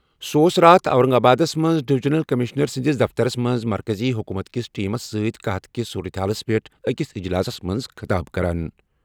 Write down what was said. سُہ اوس راتھ اورنگ آبادَس منٛز ڈویژنل کمشنر سٕنٛدِس دفترَس منٛز مرکزی حکومت کِس ٹیمس سۭتۍ قحط کِس صورتہِ حالَس پٮ۪ٹھ أکِس اجلاسَس منٛز خطاب کران۔